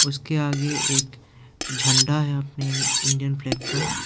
उसके आगे एक झंडा है अपने इंडियन फ्लैग का।